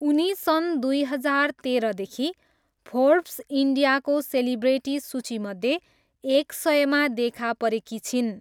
उनी सन् दुई हजार तेह्रदेखि फोर्ब्स इन्डियाको सेलिब्रेटी सूचीमध्ये एक सयमा देखा परेकी छिन्।